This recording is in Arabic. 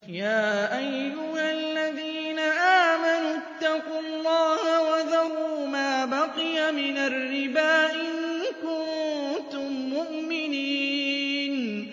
يَا أَيُّهَا الَّذِينَ آمَنُوا اتَّقُوا اللَّهَ وَذَرُوا مَا بَقِيَ مِنَ الرِّبَا إِن كُنتُم مُّؤْمِنِينَ